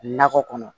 Nakɔ kɔnɔ